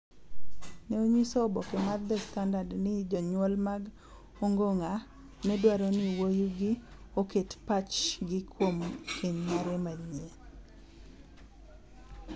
ne onyiso oboke mar The Standard ni jonyuol mag Ongong�a ne dwaro ni wuowigi oket pachgi kuom keny mare manyien.